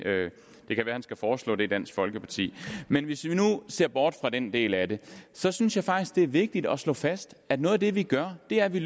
det kan være at han skal foreslå det i dansk folkeparti men hvis vi nu ser bort fra den del af det så synes jeg faktisk at det er vigtigt at slå fast at noget af det vi gør er at vi